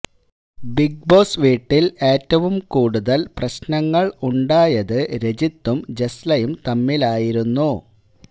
big Boss വീട്ടിൽ ഏറ്റവും കൂടുതൽ പ്രശ്നങ്ങൾ ഉണ്ടായത് രജിതും ജസ്ലയും തമ്മിലായിരുന്നു